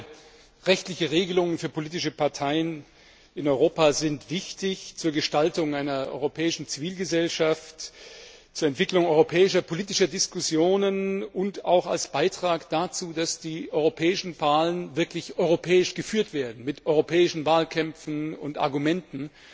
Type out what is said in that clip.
Klare rechtliche Regelungen für politische Parteien in Europa sind wichtig zur Gestaltung einer europäischen Zivilgesellschaft, zur Entwicklung europäischer politischer Diskussionen und auch als Beitrag dazu, dass die europäischen Wahlen wirklich europäisch geführt werden, mit europäischen Wahlkämpfen und Argumenten,